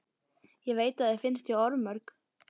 Ég veit að þér finnst ég orðmörg.